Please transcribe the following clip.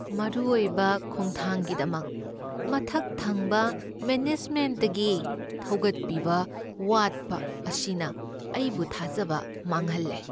ꯃꯔꯨ ꯑꯣꯏꯕ ꯈꯣꯡꯊꯥꯡꯒꯤꯗꯃꯛ ꯃꯊꯛ ꯊꯪꯕ ꯃꯦꯅꯦꯖꯃꯦꯟ꯭ꯇꯇꯒꯤ ꯊꯧꯒꯠꯄꯤꯕ ꯋꯥꯠꯄ ꯑꯁꯤꯅ ꯑꯩꯕꯨ ꯊꯥꯖꯕ ꯃꯥꯡꯍꯜꯂꯦ꯫